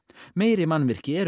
meiri mannvirki eru